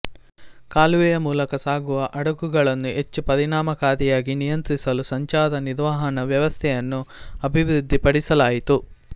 ಕಾಲುವೆಯ ಮೂಲಕ ಸಾಗುವ ಹಡಗುಗಳನ್ನು ಹೆಚ್ಚು ಪರಿಣಾಮಕಾರಿಯಾಗಿ ನಿಯಂತ್ರಿಸಲು ಸಂಚಾರ ನಿರ್ವಹಣಾ ವ್ಯವಸ್ಥೆಯನ್ನು ಅಭಿವೃದ್ಧಿಪಡಿಸಲಾಯಿತು